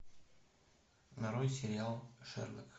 нарой сериал шерлок